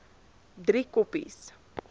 driekopies